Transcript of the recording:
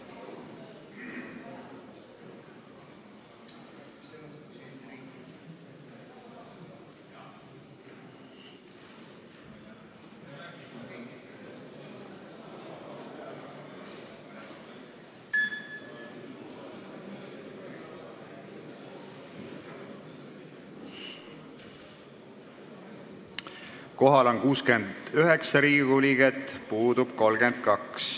Kohaloleku kontroll Kohal on 69 Riigikogu liiget, puudub 32.